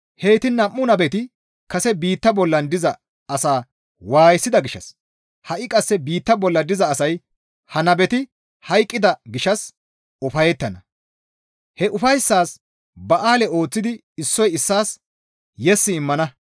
Heyti nam7u nabeti kase biittaa bolla diza asaa waayisida gishshas ha7i qasse biitta bolla diza asay ha nabeti hayqqida gishshas ufayettana; he ufayssaas ba7aale ooththidi issoy issaas yes immana.